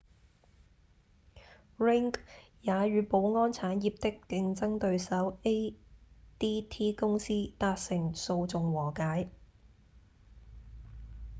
ring 也與保安產業的競爭對手 adt 公司達成訴訟和解